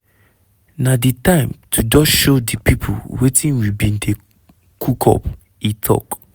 "na di time to just show di pipo wetin we bin dey cook up" e tok.